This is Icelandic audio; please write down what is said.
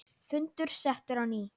Fundur settur á ný.